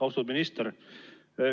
Austatud minister!